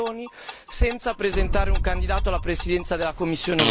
senza presentare un candidato alla Presidenza della Commissione europea.